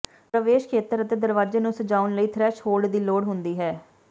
ਪ੍ਰਵੇਸ਼ ਖੇਤਰ ਅਤੇ ਦਰਵਾਜੇ ਨੂੰ ਸਜਾਉਣ ਲਈ ਥ੍ਰੈਸ਼ਹੋਲਡ ਦੀ ਲੋੜ ਹੁੰਦੀ ਹੈ